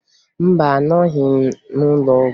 Mba, anọghị m n'ụlọọgwụ